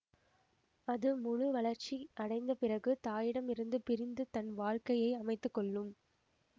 அது முழு வளர்ச்சி அடைந்த பிறகு தாயிடமிருந்து பிரிந்து தன் வாழ்க் கையை அமைத்துக்கொள்ளும்